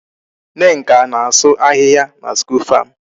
Nneka na-asụ ahịhịa na school farm.